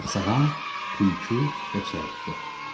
Saxsağan, tülkü və çəyirtkə.